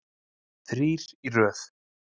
Þrír í röð.